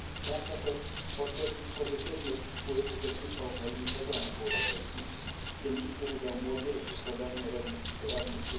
Pragnę też podkreślić pozytywny wpływ uczestnictwa Ukrainy w programach europejskich, w tym liczny udział młodzieży w programie Erasmus.